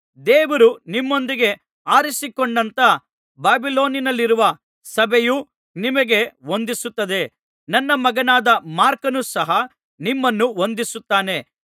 ದೇವರು ನಿಮ್ಮೊಂದಿಗೆ ಆರಿಸಿಕೊಂಡಂಥ ಬಾಬಿಲೋನಿನಲ್ಲಿರುವ ಸಭೆಯು ನಿಮಗೆ ವಂದಿಸುತ್ತದೆ ನನ್ನ ಮಗನಾದ ಮಾರ್ಕನು ಸಹ ನಿಮ್ಮನ್ನು ವಂದಿಸುತ್ತಾನೆ